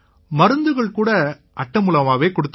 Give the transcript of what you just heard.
மருந்துகள் கூட இந்த அட்டை மூலமாவே கொடுத்தாங்க